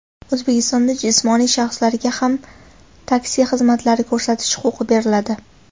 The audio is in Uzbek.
O‘zbekistonda jismoniy shaxslarga ham taksi xizmatlari ko‘rsatish huquqi beriladi.